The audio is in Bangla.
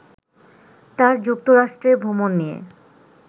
তার যুক্তরাষ্ট্রে ভ্রমণ নিয়ে